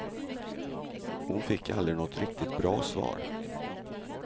Hon fick aldrig något riktigt bra svar.